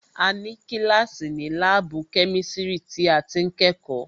A ní kíláàsì ni láàbù kẹ́misiri tí a ti ń kẹ́kọ̀ọ́